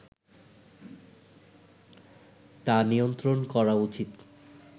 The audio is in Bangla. তা নিয়ন্ত্রণ করা উচিত